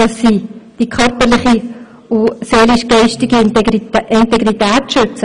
Sie müssen die körperliche und die seelisch-geistige Integrität schützen.